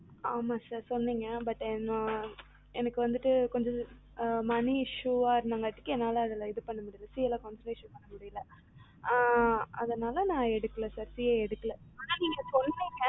ஆமாம் sir சொன்னிங்க but என்ன எனக்கு வந்துட்டு கொஞ்சம் money issue அதுனால என்னால CA ல concentrate பண்ண முடியல ஆனா நீங்க சொன்னிங்க